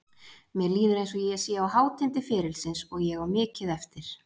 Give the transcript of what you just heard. Mér líður eins og ég sé á hátindi ferilsins og ég á mikið eftir.